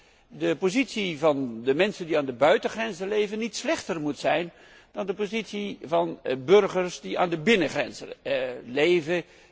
Wij vonden dat de positie van de mensen die aan de buitengrenzen leven niet slechter mocht zijn dan de positie van burgers die aan de binnengrenzen leven.